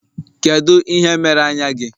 Kedu ihe mere anya gị?